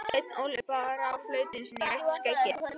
Sveinn Óli brá flautunni sinni inn í rautt skeggið.